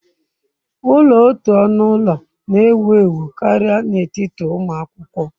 Ulo otu onu ulo na-ewu ewu karịa n'etiti ụmụ akwụkwọ.